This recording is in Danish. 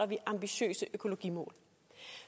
vi ambitiøse økologimål